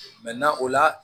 o la